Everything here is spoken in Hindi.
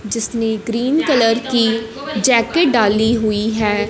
जिसने ग्रीन कलर की जैकेट डाली हुई हैं।